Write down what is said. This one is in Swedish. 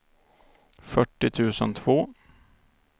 fyrtio tusen två